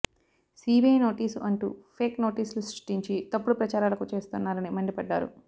CBI notice అంటూ fake నోటీసులు సృష్టించి తప్పుడు ప్రచారాలకు చేస్తున్నరని మండిపడ్డారు